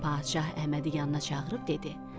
Bir gün padşah Əhmədi yanına çağırıb dedi: